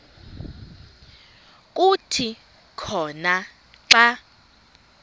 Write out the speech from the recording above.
kuthi khona xa